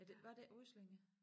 Ja det var det ikke Ryslinge